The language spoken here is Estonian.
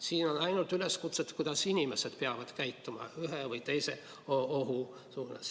Siin on ainult üleskutsed, kuidas inimesed peavad käituma ühe või teise ohu korral.